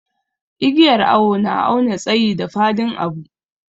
Igiyar awo na awna tsayi da fadin abu.